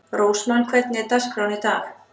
Rósmann, hvernig er dagskráin í dag?